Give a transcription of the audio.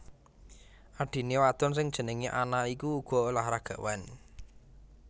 Adhiné wadon sing jenengé Anna iku uga olahragawan